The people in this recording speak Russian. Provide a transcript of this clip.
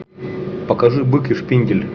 покажи бык и шпиндель